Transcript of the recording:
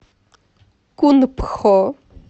кунпхо